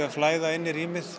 að flæða inn í rýmið